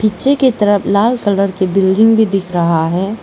पीछे की तरफ लाल कलर की बिल्डिंग भी दिख रहा है।